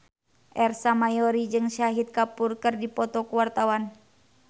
Ersa Mayori jeung Shahid Kapoor keur dipoto ku wartawan